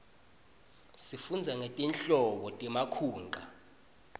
sifundza ngetinhlobo temakhunqa